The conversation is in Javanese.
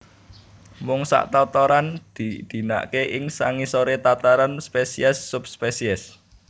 Mung sak tataran diidinaké ing sangisoré tataran spesies subspesies